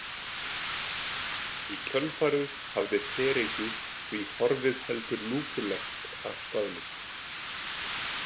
Í kjölfarið hafði fereykið því horfið heldur lúpulegt af staðnum.